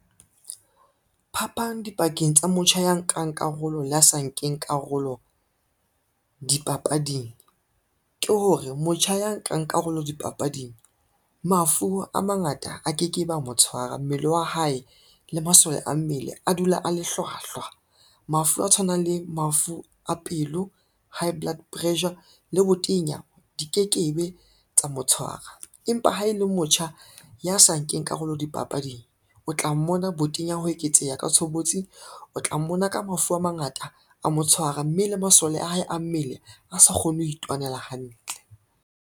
Phapang dipakeng tsa motjha ya nkang karolo le ya sa nkeng karolo dipapading ke hore, motjha ya nkang karolo dipapading mafu a mangata a ke ke be a mo tshwara mmele wa hae le masole a mmele a dula a le hlwahlwa. Mafu a tshwanang le mafu a pelo, high blood pressure, le botenya di ke ke be tsa mo tshwara, empa ha e le motjha ya sa nkeng karolo dipapading, o tla mmona botenya ho eketseha ka tshobotsi, o tla mmona ka mafu a mangata a mo tshwara, mme le masole a hae a mmele a sa kgone ho itwanela hantle.